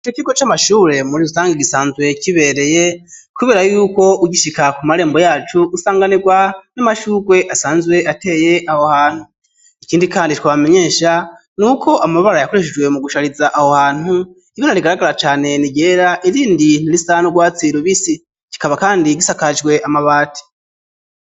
Ii ikigo c' amashure muri rusange gisanzwe kibereye, kubera yuko ugishika ku marembo yacu usanganirwa n'amashurwe asanzwe ateye aho hantu ikindi, kandi twabamenyesha ni uko amabara yakoreshejwe mu gushariza aho hantu ibana rigaragara cane ni gera irindi ntaristano urwatsirubisi kikaba, kandi gisakajweama bati.